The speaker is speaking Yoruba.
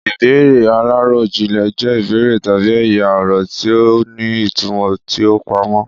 Ìbéèrè aláròjinlè jẹ́ ìbéèrè tabi ẹ̀yà-ọ̀rọ̀ tí ó ní ìtumò tí ó pamọ́.